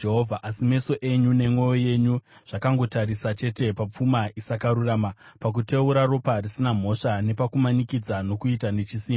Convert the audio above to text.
“Asi meso enyu nemwoyo yenyu zvakangotarisa chete papfuma isakarurama, pakuteura ropa risina mhosva napakumanikidza nokuita nechisimba.”